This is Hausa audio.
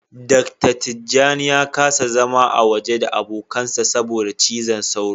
Dr.Tijjani ya kasa zama a waje da abokansa saboda cizon sauro.